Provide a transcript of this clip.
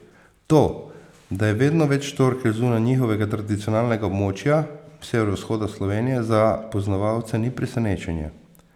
To, da je vedno več štorkelj zunaj njihovega tradicionalnega območja, severovzhoda Slovenije, za poznavalce ni presenečenje.